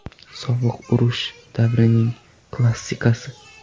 Sovuq urush davrining klassikasi.